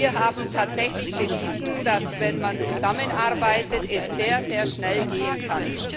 Wir haben tatsächlich bewiesen, dass, wenn man zusammenarbeitet, es sehr, sehr schnell gehen kann.